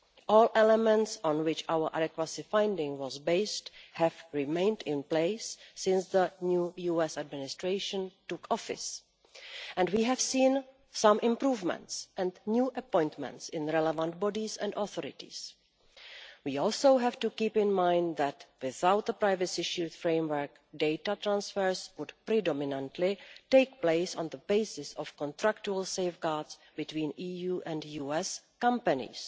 All the elements on which our adequacy finding was based have remained in place since the new US administration took office, and we have seen some improvements and new appointments in the relevant bodies and authorities. We also have to keep in mind that without the Privacy Shield framework, data transfers would predominantly take place on the basis of contractual safeguards between EU and US companies.